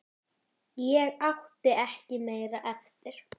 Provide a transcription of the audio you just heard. Ég átti ekki meira eftir.